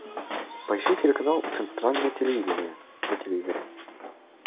поищи телеканал центральное телевидение на телевизоре